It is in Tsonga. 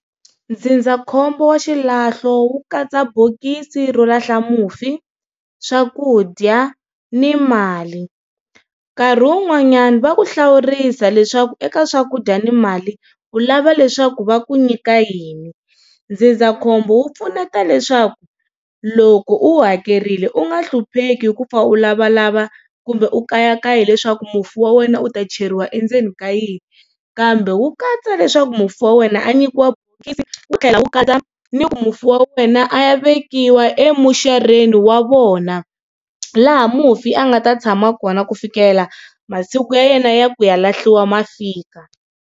Ndzindzakhombo wa xilahlo wu katsa bokisi ro lahla mufi, swakudya ni mali nkarhi wun'wanyana va ku hlawurisa leswaku eka swakudya ni mali u lava leswaku va ku nyika yini. Ndzindzakhombo wu pfuneta leswaku loko u wu hakerile u nga hlupheki hi ku pfa u lavalava kumbe u kayakaya hileswaku mufi wa wena u ta cheriwa endzeni ka yini kambe wu katsa leswaku mufi wa wena a nyikiwa bokisi wu tlhela wu katsa ni ku mufi wa wena a ya vekiwa emuxareni wa vona laha mufi a nga ta tshama kona ku fikela masiku ya yena ya ku ya lahliwa ma fika.